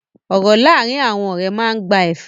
Ọ̀rọ̀ láàárín àwọn ọ̀rẹ́ máa ń gba ẹ̀fẹ̀.